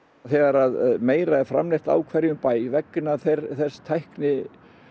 þegar meira er framleitt á hverjum bæ vegna þeirrar tækni